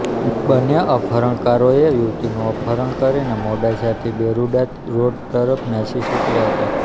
બંને અપહરણકારોએ યુવતીનું અપહરણ કરીને મોડાસાથી બેરુંડા રોડ તરફ નાસી છૂટ્યા હતા